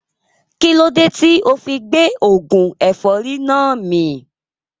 Kílódé tíì ofi gbé oògùn ẹ̀fọ́rì náà mì